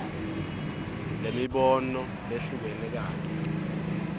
lwemibono lehlukene kanye